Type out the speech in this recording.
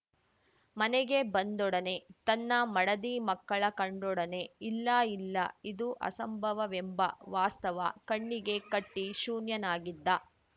ಮನೆಗೆ ಬಂದೊಡನೆ ತನ್ನ ಮಡದಿ ಮಕ್ಕಳ ಕಂಡೊಡನೆ ಇಲ್ಲ ಇಲ್ಲ ಇದು ಅಸಂಭವವೆಂಬ ವಾಸ್ತವ ಕಣ್ಣಿಗೆ ಕಟ್ಟಿಶೂನ್ಯನಾಗಿದ್ದ